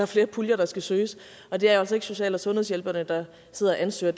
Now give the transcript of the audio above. flere puljer der skal søges og det er altså ikke social og sundhedshjælperne der sidder og ansøger